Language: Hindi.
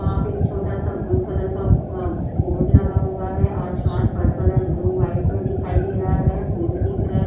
यहाँ पे एक छोटा सा ब्लू कलर का ब बोर्ड लगा हुआ है। आसमान पर्पल एण्ड ब्लू व्हाइट मे दिखाई दे रहा है। पेड़ दिख रहे --